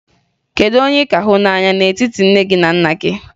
Kedu onye ị ka hụ n'anya n'etiti nne gị na nna gị?